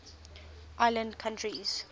island countries